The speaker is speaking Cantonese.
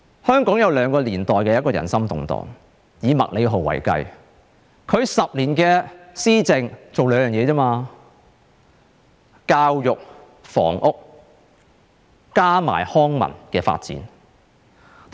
香港有兩個年代人心動盪，以麥理浩為例，他10年的施政只做了兩件事，便是教育和房屋，以及康文發展。